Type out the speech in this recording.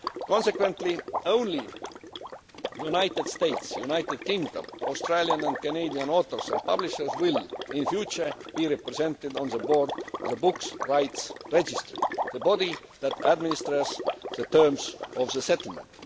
Consequently, only United States, United Kingdom, Australian and Canadian authors and publishers will, in future, be represented on the board of the Books Rights Registry, the body that administers the terms of the settlement.